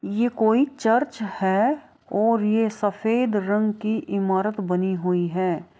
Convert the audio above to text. ये कोई चर्च है और ये सफ़ेद रंग की इमारत बनी हुई है।